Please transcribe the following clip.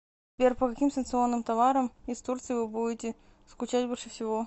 сбер по каким санкционным товарам из турции вы будете скучать больше всего